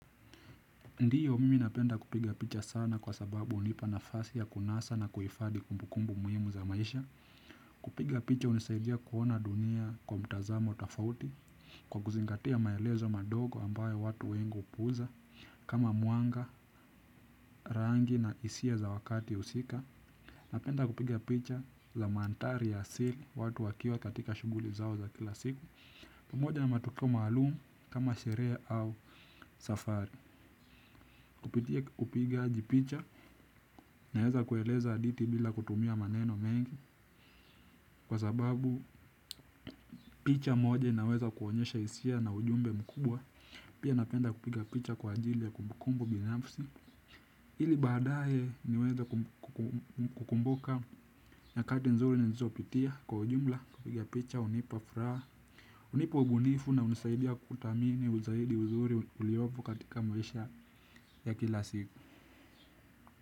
Ndiyo mimi napenda kupiga picha sana kwa sababu hunipa nafasi ya kunasa na kuhifadhi kumbukumbu muhimu za maisha. Kupiga picha hunisaidia kuona dunia kwa mtazamo tofauti. Kwa kuzingatia maelezo madogo ambayo watu wengi hupuuza kama mwanga, rangi na hisia za wakati husika. Napenda kupiga picha za manthari ya asili watu wakiwa katika shughuli zao za kila siku. Pamoja na matukio maalum kama sherea au safari kupitia kupigaji picha naweza kueleza hadithi bila kutumia maneno mengi. Kwa sababu picha moja inaweza kuonyesha hisia na ujumbe mkubwa. Pia napenda kupiga picha kwa ajili ya kumbukumbu binafsi. Ili badaye niweze kukumbuka nyakati nzuri nilizo pitia kwa ujumla. Kupiga picha, hunipa, furaha hunipa ubunifu na hunisaidia kudhamini uzaidi uzuri uliopo katika maisha ya kila siku.